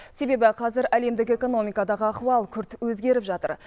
себебі қазір әлемдік экономикадағы ахуал күрт өзгеріп жатыр